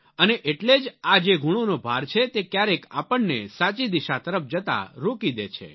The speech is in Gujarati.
અને એટલે જ આ જે ગુણોનો ભાર છે તે ક્યારેક આપણને સાચી દિશા તરફ જતા રોકી દે છે